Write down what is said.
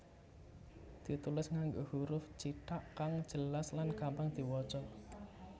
ditulis nganggo huruf cithak kang jelas lan gampang diwaca